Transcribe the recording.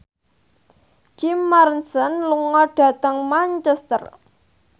Jim Morrison lunga dhateng Manchester